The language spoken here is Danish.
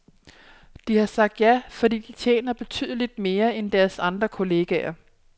De har sagt ja, fordi de tjener betydeligt mere end deres andre kolleger.